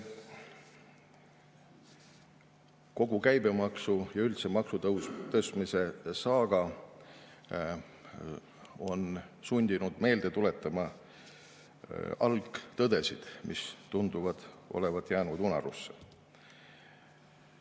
Kogu käibemaksu- ja üldse maksutõusude saaga on sundinud meelde tuletama algtõdesid, mis tunduvad olevat jäänud unarusse.